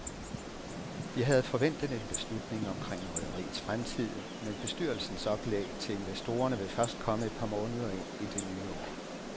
Vi havde forventet en beslutning omkring rederiets fremtid, men bestyrelsens oplæg til investorerne vil først komme et par måneder ind i det nye år.